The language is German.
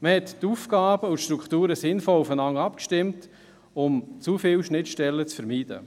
Man stimmte die Aufgaben und Strukturen sinnvoll aufeinander ab, um zu viele Schnittstellen zu vermeiden.